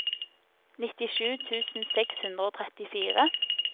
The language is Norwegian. nittisju tusen seks hundre og trettifire